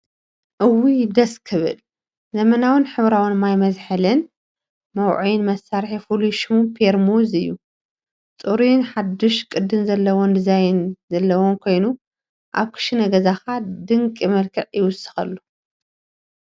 እውይ ደስ ክብል ዘመናውን ሕብራዊን ማይ መዝሓልን መውዐይን መሳርሒ ፍሉይ ሽሙ ፔርሙዝ እዩ። ጽሩይን ሓዱሽ ቅዲ ዘለዎን ዲዛይን ዘለዎ ኮይኑ፡ ኣብ ክሽነ ገዛኻ ድንቂ መልክዕ ይውስኽ።